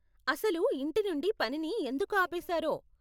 అసలు ఇంటి నుండి పనిని ఎందుకు ఆపేసారో?